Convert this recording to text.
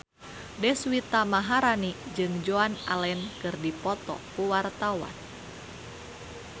Deswita Maharani jeung Joan Allen keur dipoto ku wartawan